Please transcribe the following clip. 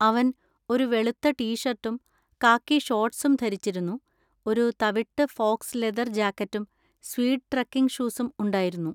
അവൻ ഒരു വെളുത്ത ടീ ഷർട്ടും കാക്കി ഷോർട്ട്സും ധരിച്ചിരുന്നു, ഒരു തവിട്ട് ഫോക്സ് ലെതർ ജാക്കറ്റും സ്വീഡ് ട്രെക്കിംഗ് ഷൂസും ഉണ്ടായിരുന്നു.